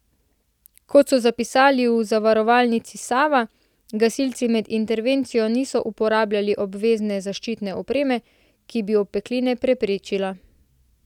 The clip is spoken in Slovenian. Kot so zapisali v Zavarovalnici Sava, gasilci med intervencijo niso uporabljali obvezne zaščitne opreme, ki bi opekline preprečila.